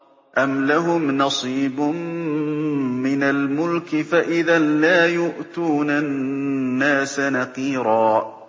أَمْ لَهُمْ نَصِيبٌ مِّنَ الْمُلْكِ فَإِذًا لَّا يُؤْتُونَ النَّاسَ نَقِيرًا